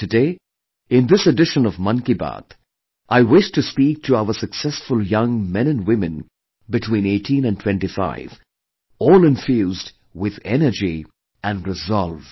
And today, in this edition of Mann Ki Baat, I wish to speak to our successful young men & women between 18 & 25, all infused with energy and resolve